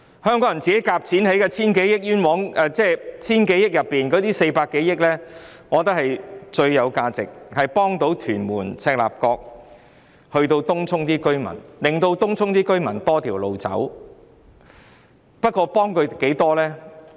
我覺得，在 1,000 多億元中，這筆400多億元的開支最具價值，因為可以幫助屯門、赤鱲角及東涌的市民，讓他們有多一條路徑選擇。